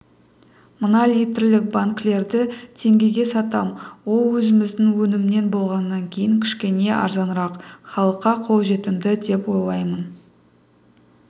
мына литрлік банкілерді теңгеге сатам ол өзіміздің өнімнен болғаннан кейін кішкене арзанырақ халыққа қолжетімді деп ойлаймын